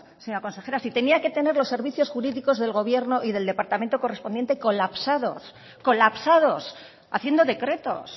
señora consejera si tenía que tener los servicios jurídicos del gobierno y del departamento correspondiente colapsados colapsados haciendo decretos